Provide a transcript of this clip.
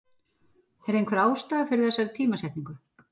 Er einhver ástæða fyrir þessari tímasetningu?